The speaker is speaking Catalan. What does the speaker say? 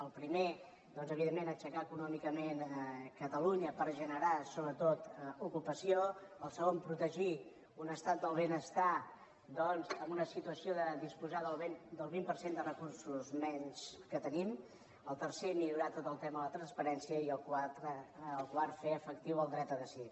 el primer doncs evidentment aixecar econòmicament catalunya per generar sobretot ocupació el segon protegir un estat del benestar doncs amb una situació de disposar del vint per cent de recursos menys que tenim el tercer millorar tot el tema de la transparència i el quart fer efectiu el dret a decidir